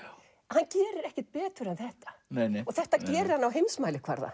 hann gerir ekkert betur en þetta og þetta gerir hann á heimsmælikvarða